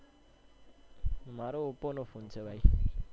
મારો Oppo નો phone છે ભાઈ.